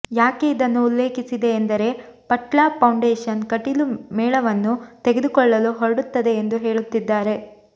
ಯಾಕೆ ಇದನ್ನು ಉಲ್ಲೇಖಿಸಿದೆ ಎಂದರೆ ಪಟ್ಲ ಫೌಂಡೇಷನ್ ಕಟೀಲು ಮೇಳವನ್ನು ತೆಗೆದುಕೊಳ್ಳಲು ಹೊರಡುತ್ತೆದೆ ಎಂದು ಹೇಳುತ್ತಿದ್ದಾರೆ